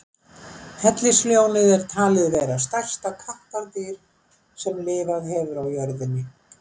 Hellisljónið er talið vera stærsta kattardýr sem lifað hefur á jörðinni.